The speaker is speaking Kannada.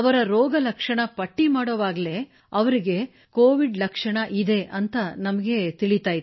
ಅವರ ರೋಗ ಲಕ್ಷಣ ಪಟ್ಟಿ ಮಾಡುವಾಗಲೇ ಅವರಿಗೆ ಲಕ್ಷಣಗಳಿದ್ದವು ಎಂಬುದು ನಮಗೆ ತಿಳಿಯುತ್ತಿತ್ತು